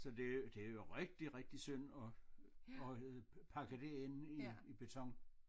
Så det det er jo rigtig rigtig synd at at øh pakke det ind i i beton